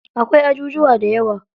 Akwai ajujuwa dayawa.